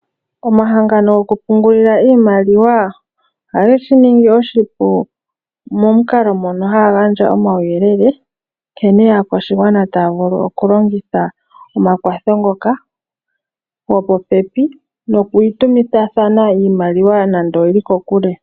Omahangano gokupungulila iimaliwa oha ge shi ningi oshipu momukalo mono haya gandja omauyelele nkene aakwashigwana taya vulu okulongitha omakwatho ngoka gopopepi, noku itumithathana iimaliwa nande owu li kokule.